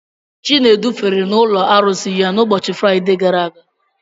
Chinedu fere n'ụlọ arụsị ya n'ụbọchị Fraide gara aga.